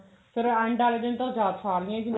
ਫ਼ੇਰ end ਆਲੇ ਦਿਨ ਤਾਂ ਉਹ ਸਾਰੀਆਂ ਹੀ